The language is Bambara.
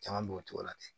Caman b'o cogo la ten